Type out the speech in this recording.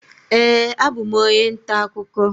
Ee, abụ m onye ntaakụkọ